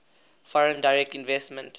foreign direct investment